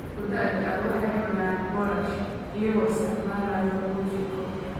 Dadka da'da ah waxay cunaan boorash iyagoo isticmaalaya ojiko